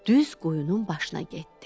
Düz qoyunun başına getdi.